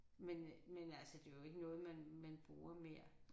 Men øh men altså det jo ikke noget man man bruger mere